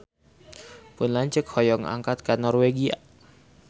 Pun lanceuk hoyong angkat ka Norwegia